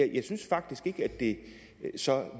jeg synes faktisk ikke at det så